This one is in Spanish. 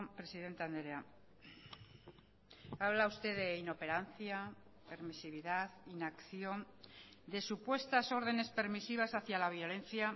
presidente andrea habla usted de inoperancia permisividad inacción de supuestas órdenes permisivas hacia la violencia